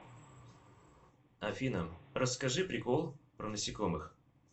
афина расскажи прикол про насекомых